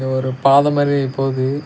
ஒரு பாத மாறி போது.